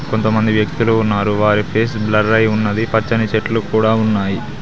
కొంతమంది వ్యక్తులు ఉన్నారు వారి ఫేసు బ్లరై ఉన్నది పచ్చని చెట్లు కూడా ఉన్నాయి.